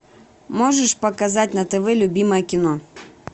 можешь показать на тв любимое кино